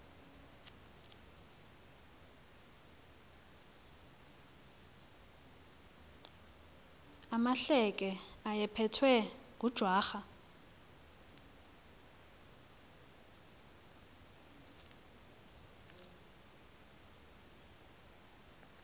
amahleke ayephethwe ngujwarha